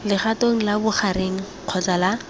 legatong la bogareng kgotsa la